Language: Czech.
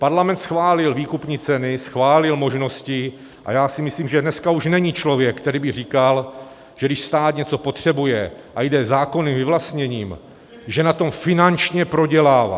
Parlament schválil výkupní ceny, schválil možnosti a já si myslím, že dneska už není člověk, který by říkal, že když stát něco potřebuje a jde zákonným vyvlastněním, že na tom finančně prodělává.